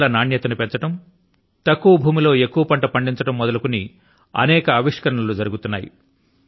పండ్ల నాణ్యత ను పెంచడం తక్కువ భూమి లో ఎక్కువ పంట ను పండించడం మొదలుకొని అనేక ఆవిష్కరణ లు జరుగుతున్నాయి